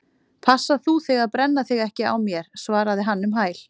Passa þú þig að brenna þig ekki á mér- svaraði hann um hæl.